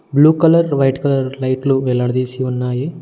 Blue colour white colour లైట్లు వేలాడదీసి ఉన్నాయి.